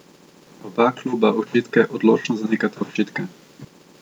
Oba kluba očitke odločno zanikata očitke.